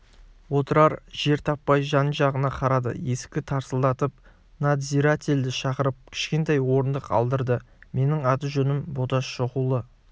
отырар жер таппай жан-жағына қарады есікті тарсылдатып надзирательді шақырып кішкентай орындық алдырды менің аты-жөнім боташ шоқұлы